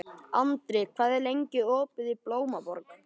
Andri, hvað er lengi opið í Blómaborg?